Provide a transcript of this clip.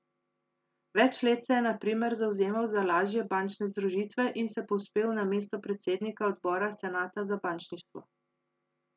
Več let se je na primer zavzemal za lažje bančne združitve in se povzpel na mesto predsednika odbora senata za bančništvo.